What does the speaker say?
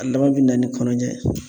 A laban bina ni kɔnɔja ye